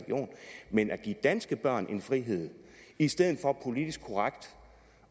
men man skal give danske børn en frihed i stedet for politisk korrekt